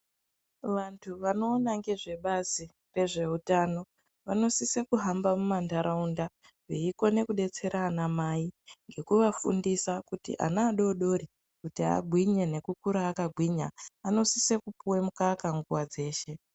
Vantu vanoona ngezve bazi rezveutano vanosisa kuhamba mumanharaunda veikone kudetsera anamai ngekuvafundisa kuti ana adodori kuti angwinye nekukura akagwinya anosise kupuwe mukaka nguwa dzeshe.